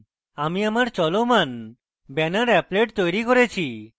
আমি আমার চলমান banner applet তৈরী করেছি